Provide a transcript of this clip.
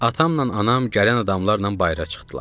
Atamla anam gələn adamlarla bayıra çıxdılar.